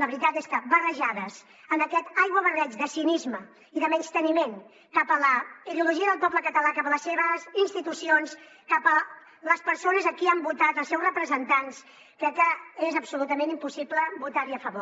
la veritat és que barrejades en aquest aiguabarreig de cinisme i de menysteniment cap a la ideologia del poble català cap a les seves institucions cap a les persones a qui han votat els seus representants crec que és absolutament impossible votar hi a favor